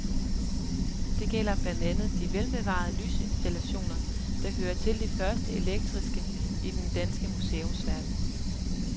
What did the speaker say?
Det gælder blandt andet de velbevarede lysinstallationer, der hører til de første elektriske i den danske museumsverden.